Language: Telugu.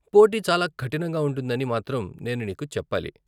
పోటీ చాలా కఠినంగా ఉంటుందని మాత్రం నేను నీకు చెప్పాలి.